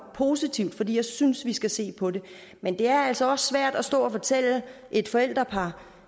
positivt fordi jeg synes vi skal se på det men det er altså også svært at stå og fortælle et forældrepar